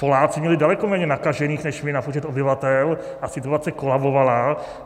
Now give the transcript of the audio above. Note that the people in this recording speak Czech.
Poláci měli daleko méně nakažených než my na počet obyvatel a situace kolabovala.